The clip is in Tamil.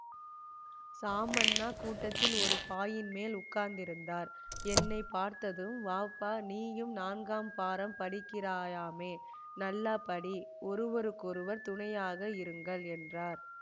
சாமண்ணா கூடத்தில் ஒரு பாயின் மேல் உட்கார்ந்திருந்தார் என்னை பார்த்ததும் வாப்பா நீயும் நான்காம் பாரம் படிக்கிறாயாமே நல்லா படி ஒருவருக்கொருவர் துணையாக இருங்கள் என்றார்